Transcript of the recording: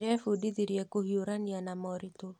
Ndĩrebundithirie kũhiũrania na moritũ.